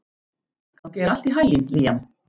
Gangi þér allt í haginn, Liam.